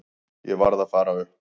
Ég varð að fara upp.